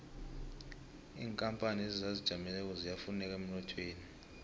inkapani ezizijameleko ziyafuneka emnothweni